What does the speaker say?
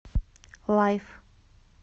лайф